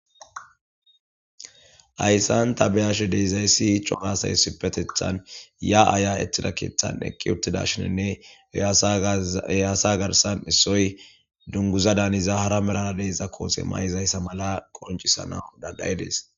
Ayssan tabeyashe deezayssi cohasay sipetethan ya aya ettida keeththan eqqi uttida shininne eyaasa garsan issoy dunguza daaniza hara merana deeza koose may'izayssa mala qoncisana daggayidees.